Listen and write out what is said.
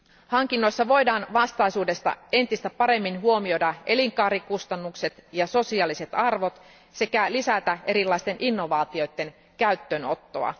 Hankinnoissa voidaan vastaisuudessa entistä paremmin huomioida elinkaarikustannukset ja sosiaaliset arvot sekä lisätä erilaisten innovaatioiden käyttöönottoa.